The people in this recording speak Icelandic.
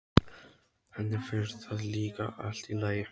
Henni finnst það líka allt í lagi.